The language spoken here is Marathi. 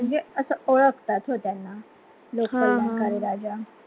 असं ओळखतात हो त्यांना लोक कल्याणकारी राजा